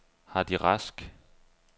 Hardy Rask